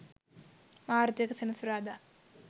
මාර්තු 01 සෙනසුරාදා